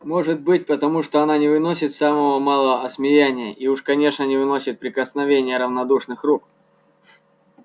может быть потому что она не выносит самого малого осмеяния и уж конечно не выносит прикосновения равнодушных рук